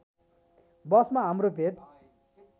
बसमा हाम्रो भेट